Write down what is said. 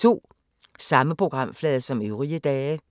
Samme programflade som øvrige dage